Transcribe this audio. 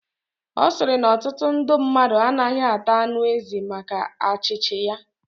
Osiri na otutu ndu mmadu anagahi ata anu ezi maka achichi ya